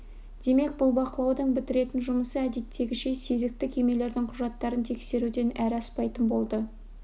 демек бұл бақылаудың бітіретін жұмысы әдеттегіше сезікті кемелердің құжаттарын тексеруден әрі аспайтын болды